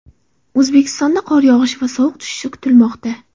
O‘zbekistonda qor yog‘ishi va sovuq tushishi kutilmoqda.